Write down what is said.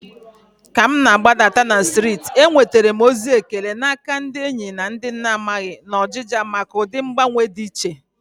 Walking down the street, I received compliments from friends and strangers alike, appreciating the stylish change.